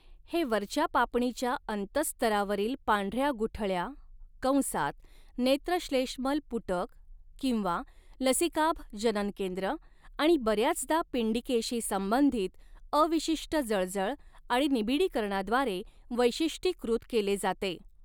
हे वरच्या पापणीच्या अंतःस्तरावरील पांढऱ्या गुठळ्या कंसात नेत्रश्लेष्मल पुटक किंवा लसीकाभ जननकेंद्र आणि बऱ्याचदा पिंडिकेशी संबंधित अविशिष्ट जळजळ आणि निबिडीकरणाद्वारे वैशिष्ट्यीकृत केले जाते.